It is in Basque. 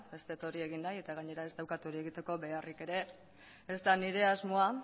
ez dut hori egin nahi eta gainera ez daukat hori egiteko beharrik ere ez da nire asmoa